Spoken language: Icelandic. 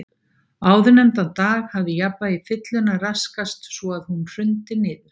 Áðurnefndan dag hafði jafnvægi fyllunnar raskast svo að hún hrundi niður.